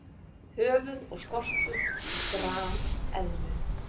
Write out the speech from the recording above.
Höfuð og skoltur grameðlu.